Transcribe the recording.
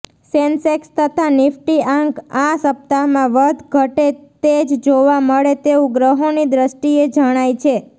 Sensex તથા નિફ્ટી આંક આ સપ્તાહમાં વધઘટે તેજ જોવા મળે તેવું ગ્રહોની દૃષ્ટિએ જણાય છે